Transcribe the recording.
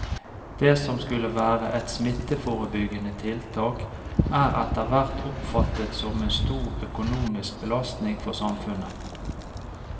Det som skulle være et smitteforebyggende tiltak er etterhvert oppfattet som en stor økonomisk belastning for samfunnet.